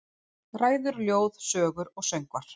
Ræður, ljóð, sögur og söngvar.